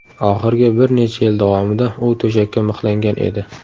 Oxirgi bir necha yil davomida u to‘shakka mixlangan edi.